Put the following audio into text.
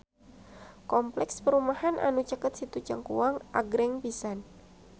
Kompleks perumahan anu caket Situ Cangkuang agreng pisan